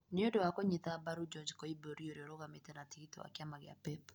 nĩ ũndũ wa kũnyita mbaru George Koimburi, ũrĩa ũrũgamĩtĩ na tigiti wa kĩama kĩa PEP,